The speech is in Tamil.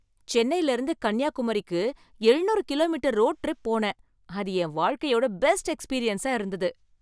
சென்னைலருந்து கன்னியாகுமரிக்கு எழுநூறு கிலோமீட்டர் ரோடு ட்ரிப் போனேன். அது என் வாழ்க்கையோட பெஸ்ட் எக்ஸ்பீரியன்ஸா இருந்தது.